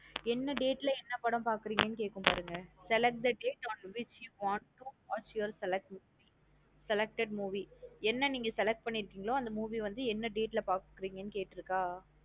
என்ன date லா என்ன படம் பாக்றீங்கனு கேக்கும் பாருங்க. select the date on which you want to watch your selected movie என்ன நீங்க select பண்ணிருகீன்களோ அந்த movie என்ன date லா பாக்க போறீங்க கேட்ருக்க.